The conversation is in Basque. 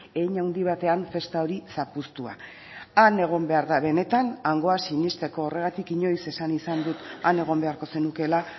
hein handi batean festa hori zapuztua han egon behar da benetan hangoa sinesteko horregatik inoiz esan izan dut han egon beharko zenukeela